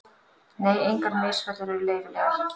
Nei, engar misfellur eru leyfilegar.